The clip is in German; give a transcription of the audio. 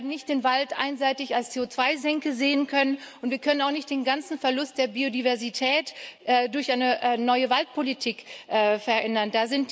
Wir werden nicht den Wald einseitig als CO2 Senke sehen können. Und wir können auch nicht den ganzen Verlust der Biodiversität durch eine neue Waldpolitik verändern.